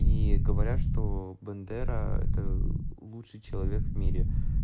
и говорят что бандера это лучший человек в мире